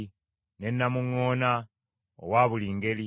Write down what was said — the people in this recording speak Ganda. ne namuŋŋoona owa buli ngeri;